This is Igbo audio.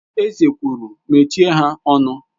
Eze kwuru, Mechie ha ọnụ!